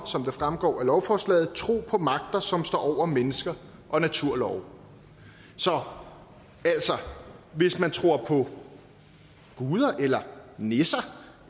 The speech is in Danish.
som det fremgår af lovforslaget tro på magter som står over mennesker og naturlove så hvis man tror på guder eller nisser